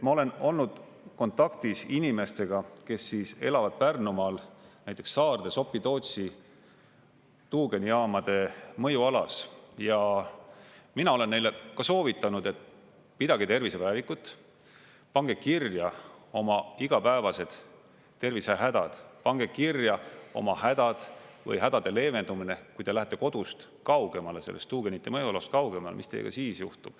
Ma olen olnud kontaktis inimestega, kes elavad Pärnumaal, näiteks Saarde Sopi-Tootsi tuugenijaamade mõjualas, ja mina olen neile ka soovitanud, et pidage tervisepäevikut, pange kirja oma igapäevased tervisehädad, pange kirja oma hädad või hädade leevendamine, kui te lähete kodust kaugemale, sellest tuugenite mõjualast kaugemale, mis teiega siis juhtub.